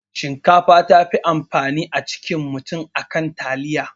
Shinkafa tafi amfani a jikin mutum akan taliya